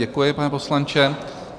Děkuji, pane poslanče.